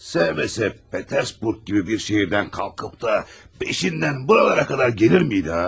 Sevməsə Peterburq kimi bir şəhərdən qalxıb da beşindən buralara qədər gəlirmiydi ha?